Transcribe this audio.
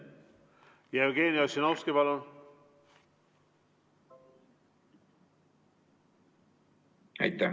Jevgeni Ossinovski, palun!